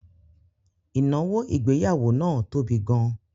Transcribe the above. Ìnáwó ìgbéyàwó náà tóbi gan